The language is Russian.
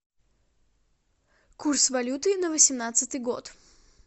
курс валюты на восемнадцатый год